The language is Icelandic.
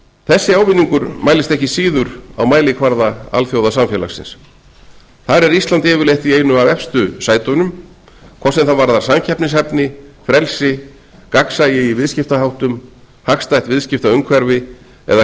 þessi ávinningur mælist ekki síður á mælikvarða alþjóðasamfélagsins þar er ísland yfirleitt í einu af efstu sætunum hvort sem það varðar samkeppnishæfni frelsi gagnsæi í viðskiptaháttum hagstætt viðskiptaumhverfi eða